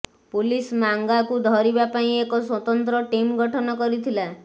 police ମାଙ୍ଗାକୁ ଧରିବା ପାଇଁ ଏକ ସ୍ୱତନ୍ତ୍ର ଟିମ୍ ଗଠନ କରିଥିଲା